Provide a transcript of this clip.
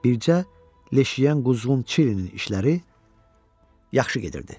Bircə leş yiyən quzğun Çilinin işləri yaxşı gedirdi.